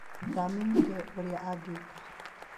Ndaamenyire ũrĩa angĩĩka.